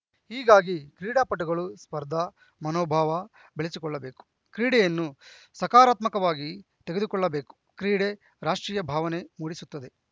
ಹೀಗಾಗಿ ಕ್ರೀಡಾಪಟುಗಳು ಸ್ಪರ್ಧಾ ಮನೋಭಾವ ಬೆಳೆಸಿಕೊಳ್ಳಬೇಕು ಕ್ರೀಡೆಯನ್ನು ಸಕಾರಾತ್ಮಕವಾಗಿ ತೆಗೆದುಕೊಳ್ಳಬೇಕು ಕ್ರೀಡೆ ರಾಷ್ಟ್ರೀಯ ಭಾವನೆ ಮೂಡಿಸುತ್ತದೆ